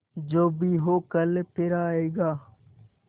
जो भी हो कल फिर आएगा